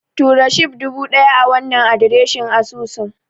Tura Shib dubu ɗaya a wannan adireshin asusun.